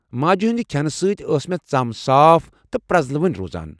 ماجہِ ہٕنٛدِ کھٮ۪نہٕ سۭتۍ ٲس مےٚ ژم صاف تہٕ پرٛٮزلوٕنۍ روزان۔